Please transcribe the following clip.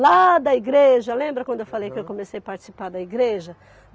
Lá da igreja, lembra quando eu falei que eu comecei a participar da igreja?